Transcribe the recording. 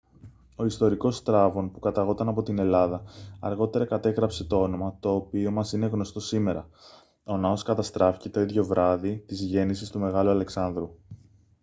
ο ιστορικός στράβων που καταγόταν από την ελλάδα αργότερα κατέγραψε το όνομα το οποίο μας είναι γνωστό σήμερα ο ναός καταστράφηκε το ίδιο βράδυ της γέννησης του μεγάλου αλεξάνδρου